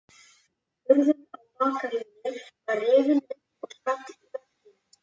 Hurðin á bakaríinu var rifin upp og skall í vegginn.